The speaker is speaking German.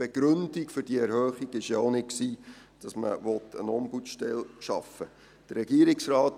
Die Begründung dieser Erhöhung war ja auch nicht, dass man eine Ombudsstelle schaffen wollte.